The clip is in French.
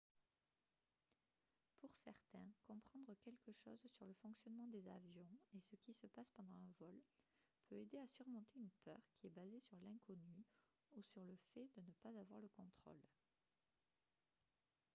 pour certains comprendre quelque chose sur le fonctionnement des avions et ce qui se passe pendant un vol peut aider à surmonter une peur qui est basée sur l'inconnu ou sur le fait de ne pas avoir le contrôle